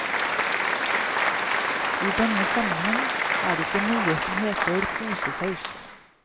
I denne sammenheng er det ikke noe som heter posesaus.